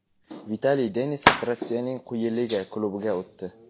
Vitaliy Denisov Rossiyaning quyi liga klubiga o‘tdi.